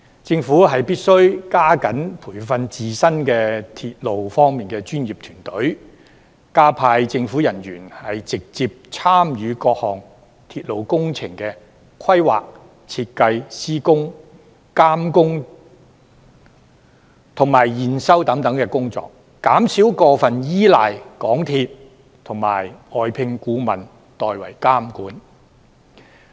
政府必須加緊培訓自身的鐵路專業團隊，加派政府人員直接參與各項鐵路工程的規劃、設計、施工、監工及驗收等工作，減少過分依賴港鐵公司及外聘顧問代為監管。